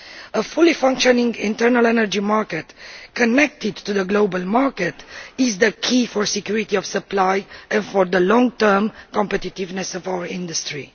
A fully functioning internal energy market connected to the global market is the key to security of supply and to the long term competitiveness of our industry.